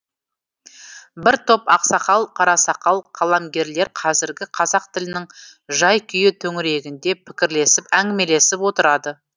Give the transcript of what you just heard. бір топ ақсақал қарасақал қаламгерлер қазіргі қазақ тілінің жай күйі төңірегінде пікірлесіп әңгімелесіп отырады